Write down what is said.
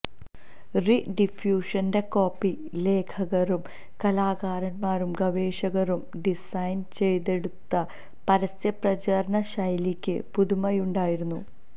റി ഡിഫ്യൂഷന്റെ കോപ്പി ലേഖകരും കലാകാരന്മാരും ഗവേഷകരും ഡിസൈൻ ചെയ്തെടുത്ത പരസ്യ പ്രചാരണ ശൈലിക്ക് പുതുമയുണ്ടായിരുന്നു